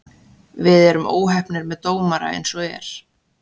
Við erum óheppnir með dómara eins og er.